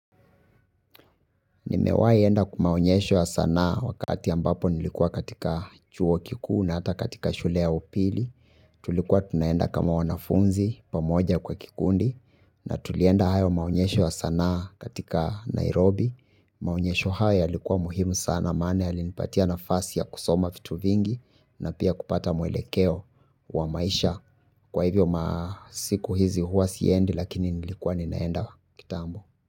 Nimewahi enda kwa maonyesho ya sanaa wakati ambapo nilikuwa katika chuo kikuu na hata katika shule ya upili. Tulikuwa tunaenda kama wanafunzi pamoja kwa kikundi, na tulienda hayo maonyesho ya sanaa katika Nairobi, Maonyesho haya yalikuwa muhimu sana maana yalinipatia nafasi ya kusoma vitu vingi na pia kupata mwelekeo wa maisha. Kwa hivyo masiku hizi huwa siendi lakini nilikuwa ninaenda kitambo.